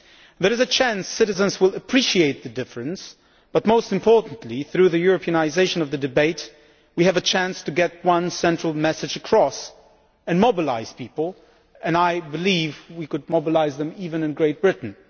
There is a chance that citizens will appreciate the difference, but most importantly through the Europeanisation of the debate, we have a chance to get one central message across and mobilise people and I believe we can mobilise them even in Great Britain.